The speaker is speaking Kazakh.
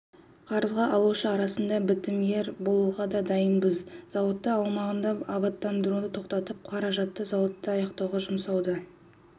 қарызға алушы арасында бітімгер болуға да дайынбыз зауыт аумағын абаттандыруды тоқтатып қаражатты зауытты аяқтауға жұмсауды